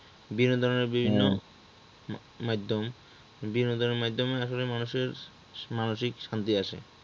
বিনোদনের বিভিন্ন মাধ্যম বিনোদনের মাধ্যমে আসলে মানুষের মানসিক শান্তি আসে